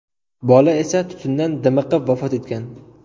Bola esa tutundan dimiqib vafot etgan.